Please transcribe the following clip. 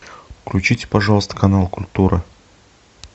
включите пожалуйста канал культура